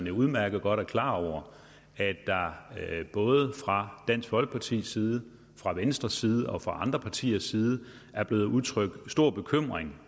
jo udmærket godt klar over at der både fra dansk folkepartis side fra venstres side og fra andre partiers side er blevet udtrykt stor bekymring